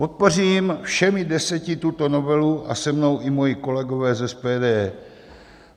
Podpořím všemi deseti tuto novelu a se mnou i moji kolegové z SPD.